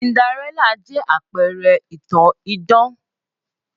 Cinderella jẹ́ àpẹrẹ ìtàn idán